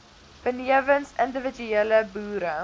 benewens individuele boere